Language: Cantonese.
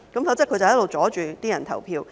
否則他便一直阻礙選民投票。